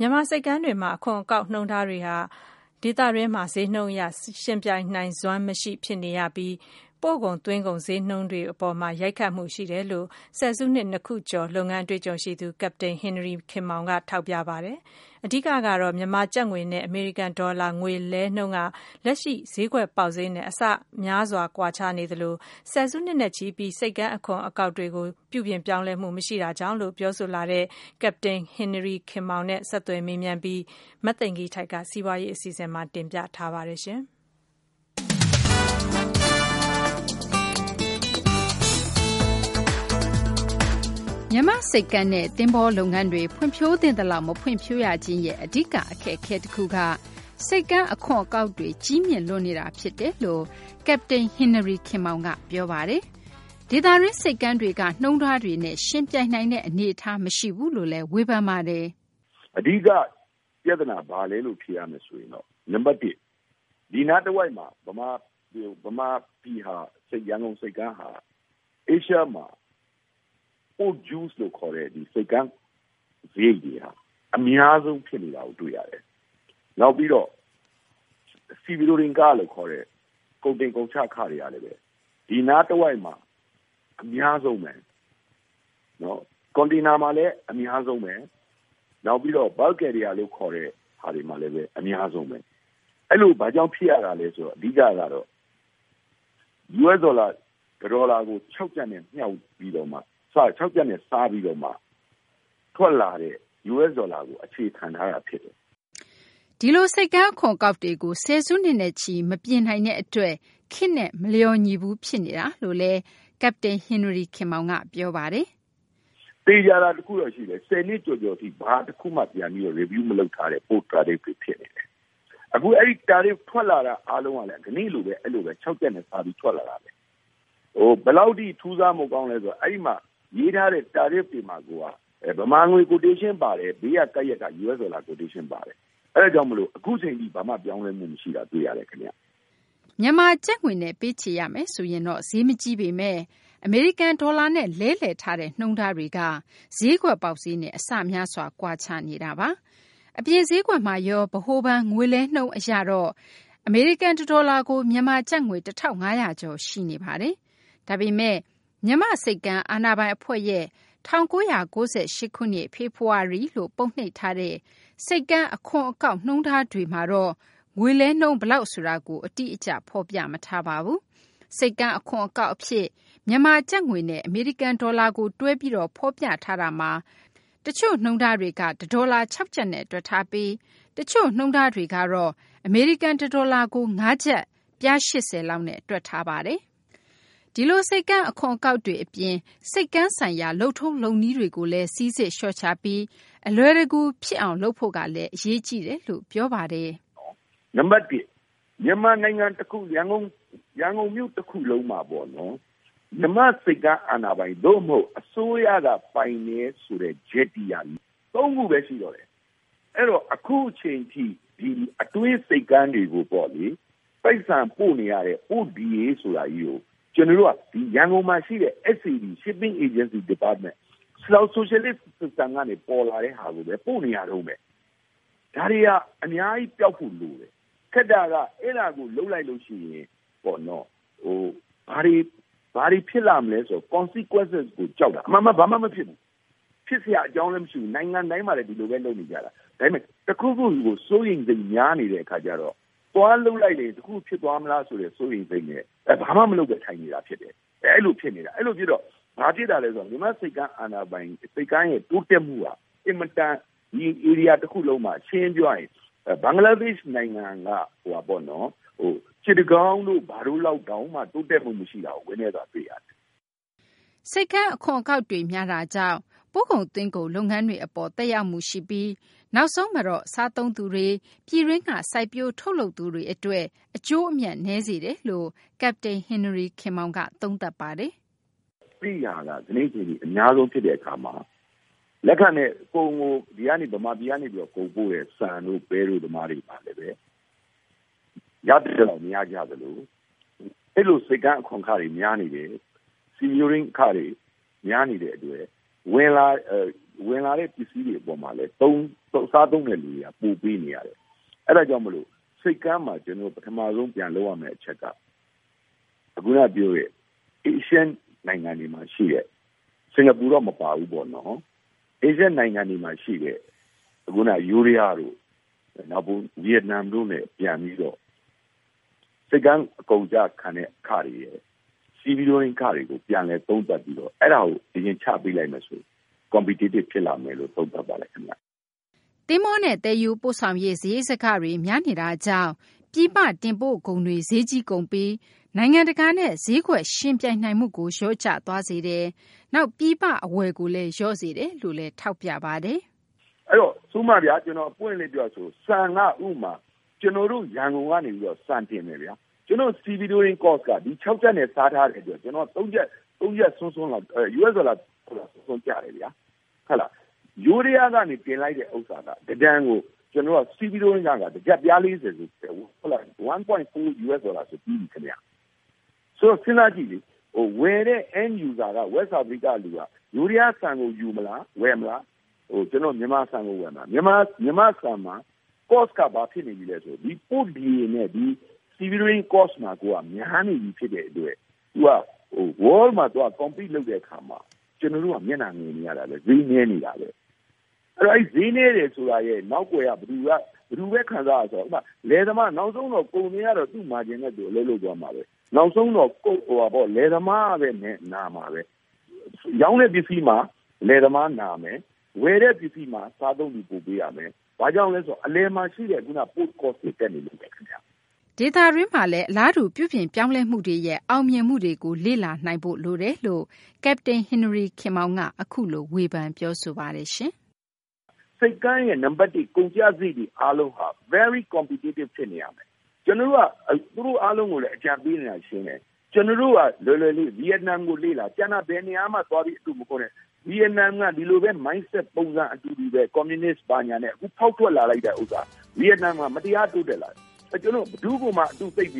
မြန်မာ့ ဆိပ်ကမ်းတွေမှာ အခွန်အကောက် နှုန်းထားတွေက ဒေသတွင်းမှာ ဈေးနှုန်းအရ ယှဉ်ပြိုင်နိုင်စွမ်း မရှိ ဖြစ်နေရပြီး ပို့ကုန်သွင်းကုန် ဈေးနှုန်းတွေ အပေါ်မှာ ရိုက်ခတ်မှု ရှိတယ်လို့ ဆယ်စုနှစ် ၂ ခုကျော် လုပ်ငန်းအတွေ့အကြုံရှိသူ ကပ္ပတိန် ဟင်နရီ ခင်မောင်က ထောက်ပြပါတယ်။ အဓိကကတော့ မြန်မာကျပ်ငွေနဲ့ အမေရိကန် ဒေါ်လာ ငွေလဲနှုန်းက လက်ရှိ ဈေးကွက်ပေါက်ဈေးနဲ့ အဆများစွာ ကွာခြားနေသလို ဆယ်စုနှစ်နဲ့ချီပြီး ဆိပ်ကမ်း အခွန် အကောက်တွေကို ပြုပြင်ပြောင်းလဲမှု မရှိတာကြောင့်လိ့ု ပြောဆိုလာတဲ့ ကပ္ပတိန် ဟင်နရီ ခင်မောင်နဲ့ ဆက်သွယ် မေးမြန်းပြီး မသိင်္ဂ ီထိုက်က စီးပွားရေး အစီအစဉ်မှာ တင်ပြထားပါတယ်။ သိင်္ဂ ီထိုက်။ ။ မြန်မာ့ ဆိပ်ကမ်းနဲ့ သဘောၤလုပ်ငန်းတွေ ဖွံ့ဖြိုးသင့်သလောက် မဖွံ့ဖြိုးရခြင်းရဲ့ အဓိက အခက်အခဲ တခုက ဆိပ်ကမ်း အခွန်အကောက်တွေ ကြီးမြင့်လွန်းနေတာ ဖြစ်တယ်လို့ ကပ္ပတိန် ဟင်နရီ ခင်မောင်က ပြောပါတယ်။ ဒေသတွင်း ဆိပ်ကမ်းတွေက နှုန်းထားတွေနဲ့ ယှဉ်ပြိုင်နိုင်တဲ့ အနေအထားမရှိဘူးလို့လည်း ပြောပါတယ်။ ကပ္ပတိန် ဟင်နရီ ခင်မောင်။ ။ အဓိက ပြသနာ ဘာလဲလို့ ဖြေရမယ်ဆိုရင် နံပတ် ၁ ဒီနားတဝိုက်မှာ ဗမာပြည် ရန်ကုန်ဆိပ်ကမ်းဟာ Asia မှာ Port Due လို့ ခေါ်တဲ့ ဆိပ်ကမ်းစာရိတ်တွေက အများဆုံး ဖြစ်နေတာကို တွေ့ရတယ်။ နောက်ပြီးတော့ Sea ခလို့ ခေါ်တဲ့ ကုန်တင်ကုန်ချ ခတွေကလည်း ဒီနားတဝိုက်မှာ အများဆုံးဘဲ။ ကွန်တိန်နာမှာလည်း အများဆုံးဘဲ။ နောက်ပြီးတော့ bulk carrier လို့ ခေါ်တဲ့ဟာတွေမှာလည်း အများဆုံးဘဲ။ အဲလို ဘာကြောင့် ဖြစ်ရတာလဲ ဆိုတော့ အဓိကကတော့ US ဒေါ်လာ တဒေါ်လာကို ၆ ကျပ်နဲ့ စားပြီးတော့မှ ထွက်လာတဲ့ US ဒေါ်လာကို အခြေခံထားတာ ဖြစ်ပါတယ်။ သိင်္ဂ ီထိုက်။ ။ ဒီလို ဆိပ်ကမ်း အခွန်အကောက်တွေကို ဆယ်စုနှစ်နဲ့ချီ မပြင်နိုင်တဲ့ အတွက် ခေတ်နဲ့ မလျော်ညီဘူး ဖြစ်နေတာလို့လည်း ကပ္ပတိန် ဟင်နရီ ခင်မောင်က ပြောပါတယ်။ ကပ္ပတိန် ဟင်နရီ ခင်မောင်။ ။ သေချာတာ တခုတော့ ရှိတယ်။ ၁၀ နှစ်ကျော်ကျော်ထိ ဘာတခုမှ ပြန်ပြီး Review လုပ်မထားတဲ့ Port Tariff တွေဖြစ်တယ်။ အဲဒီ Tariff ထွက်လာတာ အားလုံးကလည်း ကနေ့လိုဘဲ အဲလို ၆ ကျပ်နဲ့ စားပြီး ထွက်လာတာဘဲ။ ဟို ဘယ်လောက်ထိ ထူးဆန်းဖို့ ကောင်းလဲ ဆိုတော့ အဲဒီမှာ ရေးထားတဲ့ Tariff တွေမှာကိုက ဗမာငွေ Quotation ပါတယ်။ ဘေးမှာ ကပ်ရပ်က US ဒေါ်လာ Quotation ပါတယ်။ အဲဒါကြောင့်မို့ အခုအချိန်ထိ ဘာမှ ပြောင်းလဲမှု မရှိတာ တွေ့ရတယ် ခင်ဗျ။ သိင်္ဂ ီထိုက်။ ။ မြန်မာကျပ်ငွေနဲ့ ပေးချေရမယ်ဆိုရင်တော့ ဈေးမကြီးပေမယ့် အမေရိကန် ဒေါ်လာနဲ့ လဲလှယ်ထားတဲ့ နှုန်းထားက ဈေးကွက်ပေါက်ဈေးနဲ့ အဆများစွာ ကွာခြားနေပါတယ်။ အပြင် ဈေးကွက်မှာရော ဗဟိုဘဏ် ငွေလဲနှုန်းအရတော့ အမေရိကန် တဒေါ်လာကို မြန်မာကျပ်ငွေ ၁၅၀၀ ကျော် ရှိနေတာပါ။ ဒါပေမယ့် မြန်မာ့ဆိပ်ကမ်းအာဏာပိုင် အဖွဲ့ရဲ့၁၉၉၈ ခုနှစ် ဖေဖော်ဝါရီလို့ ပုံနှိပ်ထားတဲ့ ဆိပ်ကမ်း အခွန် အကောက် နှုန်းထားတွေမှာတော့ ငွေလဲနှုန်း ဘယ်လောက် ဆိုတာကို အတိအကျ မရှိပါဘူး။ ဆိပ်ကမ်း အခွန်အကောက် အဖြစ် မြန်မာ ကျပ်ငွေနဲ့ အမေရိကန် ဒေါ်လာကို တွဲပြီး ဖော်ပြထားတာမှာ တချို့ နှုန်းထားတွေမှာ တဒေါ်လာ ၆ ကျပ်လောက်နဲ့ တွက်ထားပြီး တချို့ နှုန်းထားတွေမှာတော့ အမေရိကန် တဒေါ်လာကို ၅ ကျပ် ပြား ၈၀ လောက်နဲ့ တွက်ထားပါတယ်။ ဒီလို ဆိပ်ကမ်း အခွန် အကောက်တွေ အပြင် ဆိပ်ကမ်း ဆိုင်ရာ လုပ်ငန်းတွေ လုပ်ထုံးလုပ်နည်းတွေကို စိစစ်လျှော့ချပြီး အလွယ်တကူ ဖြစ်လာအောင် လုပ်ဖို့ကလည်း အရေးကြီးတယ်လို့ ဆိုပါတယ်။ ကပ္ပတိန် ဟင်နရီ ခင်မောင်။ ။ နံပတ် ၁ မြန်မာနိုင်ငံ အခု ရန်ကုန်မြို့ တခုလုံးမှာပေါ့နော် မြန်မာ့ ဆိပ်ကမ်းအာဏာပိုင် သို့မဟုတ် အစိုးရက ပိုင်တယ်ဆိုတဲ့ Jetty က ၃ခုဘဲ ရှိတော့တယ်။ အဲတော့ အခုအချိန်ထိ အတွင်း ဆိပ်ကမ်းတွေကိုပေါ့လေ ပိုက်ဆံပို့နေရတဲ့ Port DA ဆိုတာကြီးကို ကျနော်တို့က ရန်ကုန်မှာရှိတဲ့ SAD –Shipping Agency Department ဆိုရှယ်လစ် System ကနေ ပေါ်လာတဲ့ ဟာကိုဘဲ ပို့နေရတုန်းဘဲ။ ဒါတွေဟာ အများကြီး ပျောက်ဖို့ လိုတယ်။ ခက်တာက အဲဒါကို လုပ်လိုက်လို့ ရှိရင် ပေါ့နော် ဘာတွေ ဖြစ်လာမလဲ ဆိုတဲ့ Consequences ကို ကြောက်တာ။ အမှန်က ဘာမှ မဖြစ်ဘူး။ ဖြစ်စရာ အကြောင်းလည်း မရှိဘူး။ နိုင်ငံတိုင်းမှာလည်း ဒီလိုဘဲ လုပ်နေကြတာ။ ဒါပေမယ့် တခုခုကို စိုးရိမ်စိတ်များ နေတဲ့ အခါကျတော့ သွားလုပ်လိုက်တယ် တခုခု ဖြစ်သွားမလားဆိုတဲ့ စိုးရိမ်စိတ်နဲ့ ဘာမှ မလုပ်ဘဲ ထိုင်နေတာ ဖြစ်တယ်။ အဲလို ဖြစ်နေတာ။ အဲလို ဖြစ်တော့ ဘာဖြစ်တာလဲ ဆိုတော့ မြန်မာ့ ဆိပ်ကမ်းအာဏာပိုင် ဆိပ်ကမ်းရဲ့ တိုးတက်မှုက အင်မတန် ဒီဧရိယာ တခုလုံးမှာ ရှင်းရှင်း ပြောရရင် ဘင်္ဂလားဒေရှ့် နိုင်ငံက စစ်တကောင်းတို့ ဘာတို့ လောက်တောင်မှ တိုးတက်မှု မရှိတာကို ဝမ်းနည်းစွာ တွေ့ရတယ်။ သိင်္ဂ ီထိုက်။ ။ ဆိပ်ကမ်း အခွန်အကောက်တွေ များတာကြောင့် ပို့ကုန် သွင်းကုန် လုပ်ငန်းတွေ အပေါ်မှာ သက်ရောက်မှုရှိပြီး နောက်ဆုံးတော့ စားသုံးသူတွေ၊ ပြည်တွင်းက စိုက်ပျိုး ထုတ်လုပ်သူတွေ အတွက် အကျိုးနည်းစေတယ်လို့လည်း ကပ္ပတိန် ဟင်နရီ ခင်မောင်က သုံးသပ်ပါတယ်။ ကပ္ပတိန် ဟင်နရီ ခင်မောင်။ ။ အဲဒီဟာက ကနေ့ အချိန်ထိ အများဆုံး ဖြစ်တဲ့ အခါမှာ လက်ခနဲ့ ကုန်ကို ဒီကနေ ဗမာပြည်ကနေ ကုန်ပို့တဲ့ ဆန်တို့ ပဲတို့ သမားတွေ ရသင့်သလောက် မရကြသလို အဲလို ဆိပ်ကမ်း အခွန်အခတွေ များနေတယ်။ Sea-going အခတွေ များနေတဲ့ အတွက် ဝင်လာတဲ့ ပစ္စည်းတွေ အပေါ်မှာလည်း စားသုံးတဲ့ သူတွေက ပိုပေးနေရတယ်။ အဲဒါကြောင့် မို့လို့ ဆိပ်ကမ်းမှာ ကျနော်တို့ ပထမဆုံး ပြန်လုပ်ရမယ့် အချက်က ခုနက ပြောတဲ့ Asian နိုင်ငံတွေမှာ ရှိတဲ့ စကာၤပူတော့ မပါဘူးပေါ့နော်။ အာရှ နိုင်ငံတွေမှာ ရှိတဲ့ ခုနက ယိုးဒယားတို့ ဗီယက်နမ်တို့နဲ့ ပြန်ပြီးတော့ ဆိပ်ကမ်း ကုန်ကျခံတဲ့ အခတွေရယ်၊ Stevedoring ခတွေကို ချပေးလိုက်မယ်ဆိုရင်တော့ Competitive ဖြစ်လာမယ်လို့ သုံးသပ်ပါတယ် ခင်ဗျ။ သိင်္ဂ ီထိုက်။ ။ သဘောၤနဲ့ သယ်ယူပို့ဆောင်ရေး စာရိတ်စကတွေ များနေတာကြောင့် ပြည်ပ တင်ပို့ကုန်တွေ ဈေးကြီးကုန်ပြီး နိုင်ငံတကာနဲ့ ဈေးကွက်ယှဉ်ပြိုင်နိုင်မှုကို လျော့ကျသွားစေတယ်၊ နောက် ပြည်ပ အဝယ်ကိုလည်း လျော့စေတယ်လို့လည်း ဆိုပါတယ်။ ကပ္ပတိန် ဟင်နရီ ခင်မောင်။ ။ ဥပမာဗျာ ကျနော် ပွင့်ပွင့်လင်းလင်း ပြောရမယ်ဆိုရင်တော့ ဆန် က ဥပမာ ကျနော်တို့ ရန်ကုန်က နေပြီးတော့ ဆန်တင်မယ်ဗျာ။ ကျနော်တို့ Stevedoring Cost က ဒီ ၆ ကျပ်နဲ့ စားထားတယ်ဆိုတော့ US ဒေါ်လာ ၃ ကျပ်လောက် ကျတယ်ဗျာ။ ယိုးဒယားက တင်လိုက်တဲ့ ဥစ္စာက တတန်ကို Stevedoring ခက တကျပ် ပြား ၃၀ ဒေါ်လာဆို ပြီးပြီ။ ဆိုတော့ စဉ်းစားကြည့်လေ ဝယ်တဲ့ End User က West Africa က လူက ယိုးဒယား ဆန်ကို ဝယ်မလား၊ ကျနော်တို့ မြန်မာဆန်ကို ဝယ်မလား။ မြန်မာ့ဆန်က Cost က ဘာဖြစ်နေပြီလဲ ဆိုတော့ ဒီ Port DA နဲ့ Stevedoring Cost မှာကိုက များနေပြီ ဖြစ်တဲ့ အတွက် ကမ္ဘာမှာ ယှဉ်ပြိုင်တဲ့ အခါမှာ ကျနော်တို့က မျက်နှာငယ်နေရတာဘဲ။ ဈေးနည်းနေတာဘဲ။ အဲဒီ ဈေးနည်းနေတယ်ဆိုတာရဲ့ နောက်ကွယ်က ဘယ်သူဘဲ ခံစားရလဲ ဆိုတော့ ဥပမာ လယ်သမား။ နောက်ဆုံးတော့ ကုန်သည်ကတော့ သူ့ Margin နဲ့သူ အလုပ်လုပ်သွားမှာဘဲ။ နောက်ဆုံးတော့ လယ်သမားကဘဲ နာမှာဘဲ။ ရောင်းတဲ့ ပစ္စည်းမှာ လယ်သမား နာမယ်။ ဝယ်တဲ့ ပစ္စည်းမှာ စားသုံးသူ ပိုပေးရမယ်။ ဘာကြောင့်လဲ ဆိုတော့ အလယ်မှာ ရှိတဲ့ ခုနက Post Cost တွေ တက်နေလို့ဘဲ ခင်ဗျ။ သိင်္ဂ ီထိုက်။ ။ ဒေသတွင်းမှာလည်း အလားတူ ပြုပြင်ပြောင်းလဲမှုတွေ အောင်မြင်မှုတွေ ရှိနေတာကိုလည်း ကပ္ပတိန် ဟင်နရီ ခင်မောင်က အခုလို ထောက်ပြ ပြောဆိုသွားပါတယ်။ ကပ္ပတိန် ဟင်နရီ ခင်မောင်။ ။ ဆိပ်ကမ်းရဲ့ ကုန်ကျစာရိတ်တွေ အားလုံးက Very Competitive ဖြစ်နေရမယ်။ ကျနော်တို့က သူတို့ အားလုံးကိုလည်း အကြံပေးနေတာ ရှင်းတယ်။ ကျနော်တို့က လွယ်လွယ်လေး။ ဗီယက်နမ်ကို လေ့လာ။ ကျန်တာ ဘယ်နေရာမှ သွားပြီး အတုမခိုးနဲ့။ ဗီယက်နမ်က ဒီလိုဘဲ Mindset ပုံစံ အတူတူဘဲ။ ကွန်မြူနစ် ဘာညာနဲ့ အခု ဖောက်ထွက်လာလိုက်တာ ဆိုတာ ဗီယက်နမ်မှာ မတရား တိုးတက်လာတယ်။ ကျနော်တို့ ဘယ်သူ့ကိုမှ အတုသိပ်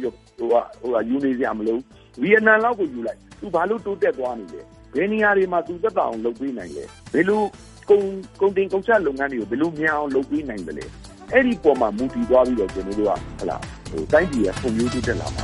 ယူနေစရာ မလိုဘူး။ ဗီယက်နမ်လောက်ကို ယူလိုက်။ သူ ဘာလို့ တိုးတက်သွားနေလဲ။ ဘယ်နေရာတွေမှာ သူသက်သာအောင် လုပ်ပေးနိုင်သလဲ။ ဘယ်လိုကုန်တင် ကုန်ချ လုပ်ငန်းတွေကို ဘယ်လို မြန်အောင် လုပ်ပေးနိုင်သလဲ။ အဲဒီပေါ်မှာ မူတည်သွားပြီးတော့ ကျနော်တို့က တိုင်းပြည်က ဖွံ့ဖြိုးတိုးတက်လာမှာ